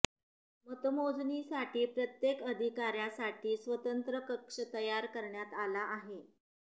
मतमोजणीसाठी प्रत्येक अधिकाऱ्यासाठी स्वतंत्र कक्ष तयार करण्यात आला आहे